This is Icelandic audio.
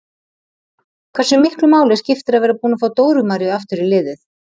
Hversu miklu máli skiptir að vera búin að fá Dóru Maríu aftur í liðið?